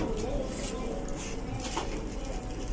у меня есть один вопрос